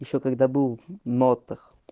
ещё когда был нотах